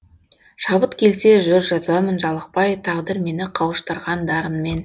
шабыт келсе жыр жазамын жалықпай тағдыр мені қауыштырған дарынмен